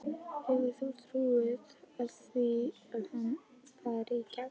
Hefur þú trú á því að hann fari í gegn?